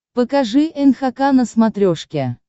покажи нхк на смотрешке